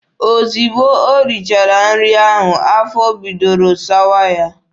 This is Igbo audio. Ozugbo o richara nri ahụ, afọ bidoro sawa ya.